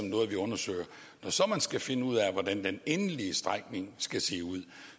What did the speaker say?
noget vi undersøger når så man skal finde ud af hvordan den endelige strækning skal se ud